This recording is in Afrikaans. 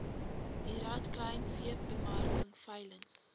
lrad kleinveebemarking veilings